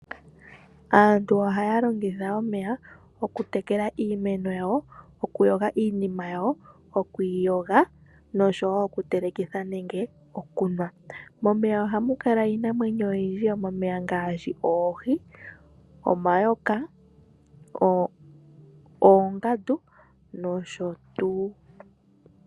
Aantu ohaya longitha omeya okutekela iimeno yawo, okuyoga iinima yawo, okwiiyoga, nosho wo okutelekitha nenge okunwa. Momeya ohamu kala iinamwenyo oyindji yomomeya ngaashi oohi, omayoka, oongandu, nosho tuu.